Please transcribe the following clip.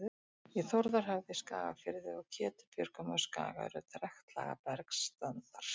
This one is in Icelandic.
Í Þórðarhöfða í Skagafirði og Ketubjörgum á Skaga eru trektlaga bergstandar.